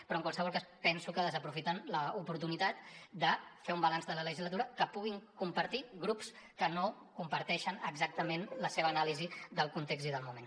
però en qualsevol cas penso que desaprofiten l’oportunitat de fer un balanç de la legislatura que puguin compartir grups que no comparteixen exactament la seva anàlisi del context i del moment